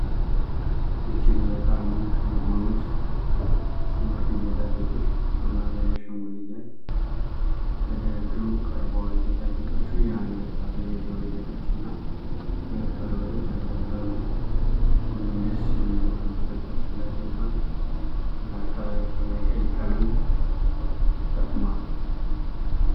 እጅግ በጣም ውብ የሆኑት የወርቅ ጌጣጌጦች በጥቁር የማሳያ አሻንጉሊት ላይ ተደርገው ቀርበዋል። ጌጣጌጦቹ የአንገት ሐብል፣ የጆሮ ጌጦች፣ እና ሁለት ቀለበቶችን ያካትታሉ። ሁሉም ደስ የሚሉ ክብ ቅርጾች ያላቸው ሲሆን፣ መሀከላቸው ላይ ቀይ ቀለም ተጠቅሟል።